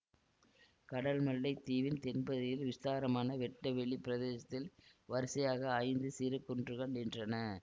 கடல்மல்லைத் தீவின் தென்பகுதியில் விஸ்தாரமான வெட்ட வெளி பிரதேசத்தில் வரிசையாக ஐந்து சிறு குன்றுகள் நின்றன